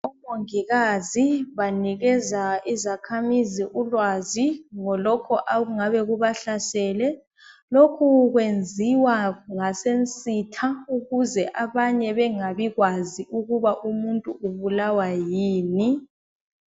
Omongikazi banikeza izakhamizi ulwazi ngalokhu okungabe kubahlasele. Lokhu kwenziwa ngasensitha ukuze abanye bangabikwazi ukuthi umuntu ubulawa yini.